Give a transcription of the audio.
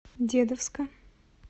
дедовска